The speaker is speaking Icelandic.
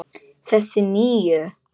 Þessa nýju.